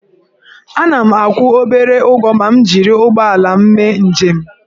Ana m akwụ obere ụgwọ ma m jiri ụgbọala mee njem